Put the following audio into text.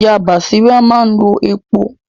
Ìyá Bàsírá máa ń lo epo